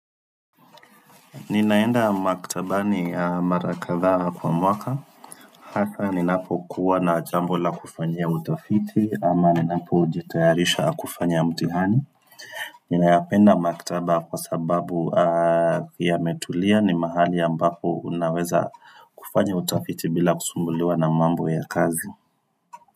Ninaenda maktabani mara kadhaa kwa mwaka Hasa ninapokuwa na jambo la kufanyia utafiti ama ninapojitayarisha kufanya mtihani Ninayapenda maktaba kwa sababu yametulia ni mahali ambapo unaweza kufanya utafiti bila kusumbuliwa na mambo ya kazi.